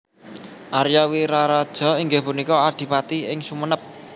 Aria Wiraraja inggih punika adipati ing Sumenep